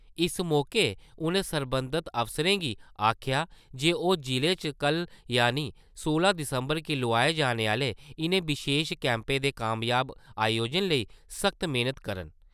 इस मौके उ`नें सरबंधत अफसरें गी आखेआ जे ओह् जिले च कल यानि सोलां दिसम्बर गी लोआए जाने आह्‌ले इ`नें विशेश कैम्पें दे कामयाब अयोजन लेई सख्त मेह्‌नत करन।